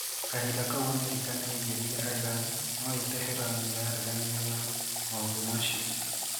Kahinda kau Amerika niyaigereire Iran- noi Tehran niareganire na maũndu macio.